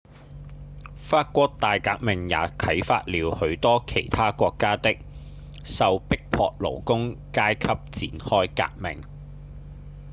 法國大革命也啟發了許多其他國家的受迫勞工階級展開革命